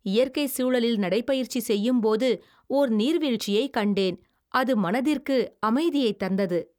இயற்கை சூழலில் நடை பயிற்சி செய்யும் போது ஓர் நீர்வீழ்ச்சியை கண்டேன். அது மனதிற்கு அமைதியை தந்தது.